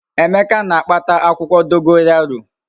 Emeka na-akpata akwukwo dogoyaro